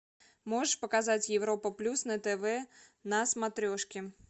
можешь показать европа плюс на тв на смотрешке